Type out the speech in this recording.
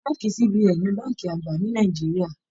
Bánkì CBN ni bánkì àgbà ni Nàìjíríà.